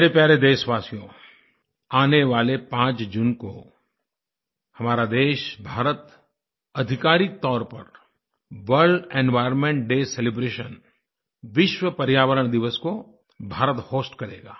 मेरे प्यारे देशवासियो आने वाले 5 जून को हमारा देश भारत आधिकारिक तौर पर वर्ल्ड एनवायर्नमेंट डे सेलिब्रेशन विश्व पर्यावरण दिवस को भारत होस्ट करेगा